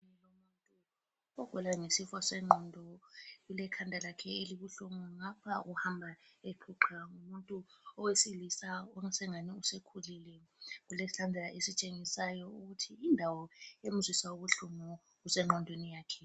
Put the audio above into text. Ogula ngesifo sengqondo ulekhanda lakhe elibuhlungu. Ngapha uhamba eqhuqha. Ngumuntu owesilisa osengani usekhulile. Ulesandla esitshengisayo ukuthi indawo emzwisa ubuhlungu kusengqondweni yakhe.